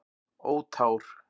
Ó tár.